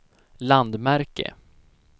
landmärke